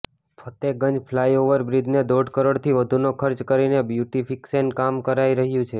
Fatehganj flyover બ્રિજને દોઢ કરોડથી વધુનો ખર્ચ કરીને બ્યુટીફિકેશનનું કામ કરાઈ રહ્યું છે